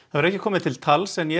hefur ekki komið til tals en ég